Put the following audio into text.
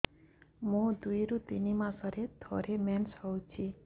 ମୋର ଦୁଇରୁ ତିନି ମାସରେ ଥରେ ମେନ୍ସ ହଉଚି